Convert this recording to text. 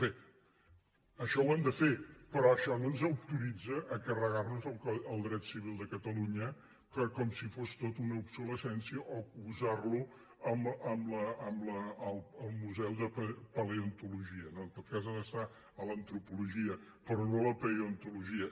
bé això ho hem de fer però això no ens autoritza a carregar nos el dret civil de catalunya com si fos tot una obsolescència o posar lo al museu de paleontologia no en tot cas ha d’estar a l’antropologia però no a la paleontologia